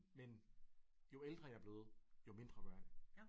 Men jo ældre jeg er blevet jo mindre gør jeg det